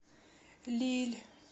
лилль